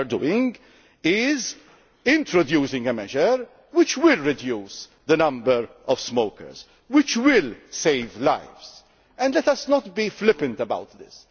course. What we are doing is introducing a measure which will reduce the number of smokers, which will save lives. And let us not be flippant about